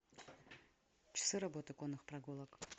часы работы конных прогулок